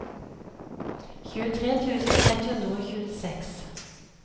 tjuetre tusen ett hundre og tjueseks